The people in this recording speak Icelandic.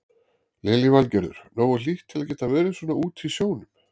Lillý Valgerður: Nógu hlýtt til að geta verið svona úti í sjónum?